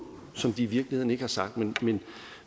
som de i virkeligheden ikke har sagt